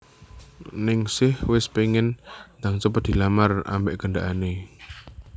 Ningsih wes pengen ndang cepet dilamar ambek gendakane